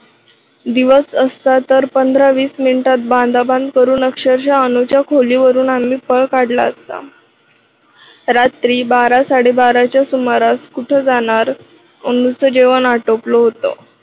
दिवस असता तर पंधरा-वीस मिनिटात बांधाबांध करून अक्षरशा अनुच्या खोली वरून आम्ही पळ काढला असता. रात्री बारा साडेबाराच्या सुमारास कुठे जाणार? अनुच जेवण आटोपलं होतं.